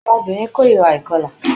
Áwọn obìnrin kórira ìkọlà